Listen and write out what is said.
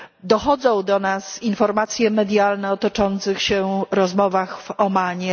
Dochodzą do nas informacje medialne o toczących się rozmowach w Omanie.